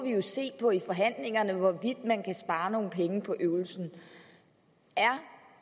jo i forhandlingerne se på hvorvidt man kan spare nogle penge på øvelsen er